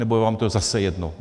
Nebo je vám to zase jedno?